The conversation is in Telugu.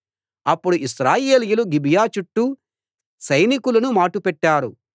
అప్పుడు ఇశ్రాయేలీయులు గిబియా చుట్టూ సైనికులను మాటు పెట్టారు